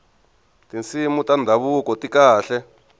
tinsimu ta ndhavuko ti kahle